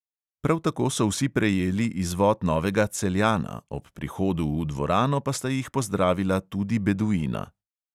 Prav tako so vsi prejeli izvod novega celjana, ob prihodu v dvorano pa sta jih pozdravila tudi beduina.